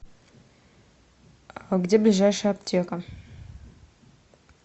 где ближайшая аптека